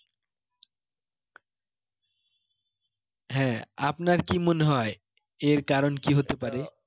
হ্যাঁ আপনার কি মনে হয় এর কারণ কি হতে পারে?